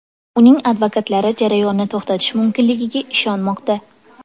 Uning advokatlari jarayonni to‘xtatish mumkinligiga ishonmoqda.